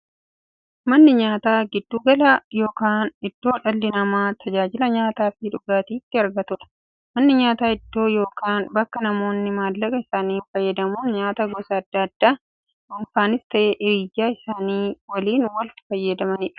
Manni nyaataa giddu gala yookiin iddoo dhalli namaa tajaajila nyaataafi dhugaatii itti argatuudha. Manni nyaataa iddoo yookiin bakka namoonni maallaqa isaanii fayyadamuun nyaataa gosa addaa addaa dhunfanis ta'ee hiriyyaa isaanii waliin itti fayyadamaniidha.